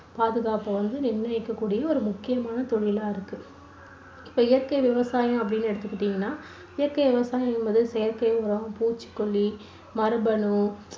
பாதுகாப்பை வந்து நிர்ணயிக்கக்கூடிய முக்கியமான தொழிலா இருக்கு இப்போ இயற்கை விவசாயம் அப்படின்னு எடுத்துகிட்டீங்கன்னா இயற்கை விவசாயம், செயற்கை உரம், பூச்சிக்கொல்லி, மரபணு